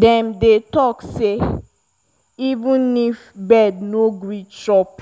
dem dey talk say if even bird no gree chop